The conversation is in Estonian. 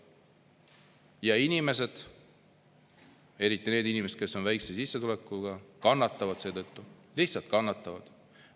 Ja inimesed eriti need inimesed, kes on väikese sissetulekuga, kannatavad seetõttu, lihtsalt kannatavad.